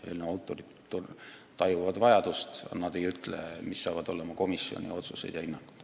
Eelnõu autorid tajuvad vajadust, aga nad ei ütle, millised saavad olema komisjoni otsused ja hinnangud.